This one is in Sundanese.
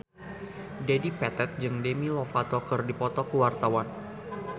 Dedi Petet jeung Demi Lovato keur dipoto ku wartawan